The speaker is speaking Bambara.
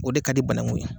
O de ka di banakun ye